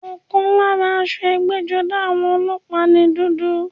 Ọ̀kan lára aṣọ ẹgbẹ́-jọdá àwọn ọlọ́pàá ni dúdú.